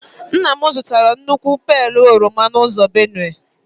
Nna m zụtara otu nnukwu pailu oroma n'ụzọ Benue.